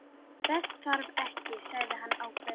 Þess þarf ekki, sagði hann ákveðinn.